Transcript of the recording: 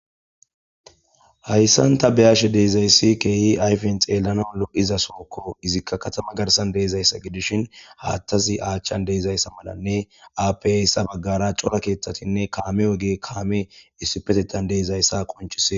hayssanta beyashe deezayssi keehi ayfin xeelana olo7iza sookko izikka katama garsan deezayssa gidishin haathtazi aachchan deezayssa malanne apasa baggara cora keeththatinne kaame oge kaame issipetetan deezayssa qonchisee